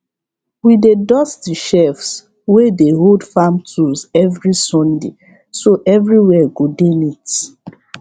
we dey dust the shelves wey dey hold farm tools every sunday so everywhere go dey neat